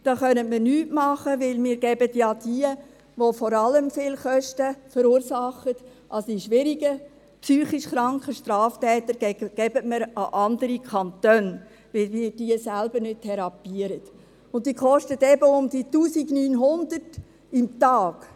Da können wir nichts tun, denn wir geben ja diejenigen, die vor allem viele Kosten verursachen, die schwierigen, psychisch kranken Straftäter, an andere Kantone, weil wir sie nicht selbst therapieren, und sie kosten eben rund 1900 Franken pro Tag.